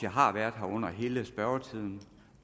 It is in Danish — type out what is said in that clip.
har været her under hele spørgetiden